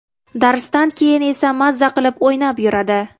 Darsdan keyin esa mazza qilib o‘ynab yuradi.